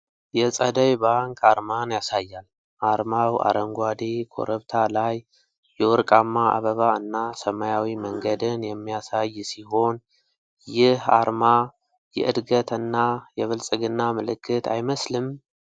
የፀደይ ባንክ አርማን ያሳያል። አርማው አረንጓዴ ኮረብታ ላይ የወርቃማ አበባ እና ሰማያዊ መንገድን የሚያሳይ ሲሆን፣ ይህ አርማ የዕድገት እና የብልጽግና ምልክት አይመስልም?